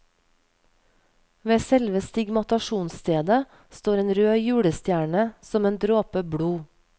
Ved selve stigmatasjonsstedet står en rød julestjerne, som en dråpe blod.